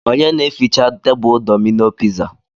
Onye na eficha tebulu Domino piza?